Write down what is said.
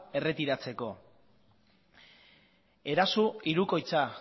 erretiratzeko eraso hirukoitza